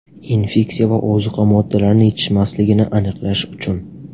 Infeksiya va ozuqa moddalarini yetishmasligini aniqlash uchun.